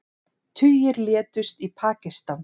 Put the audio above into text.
Tugir létust í Pakistan